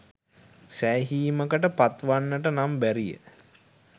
සෑහිමකට පත් වන්නට නම් බැරිය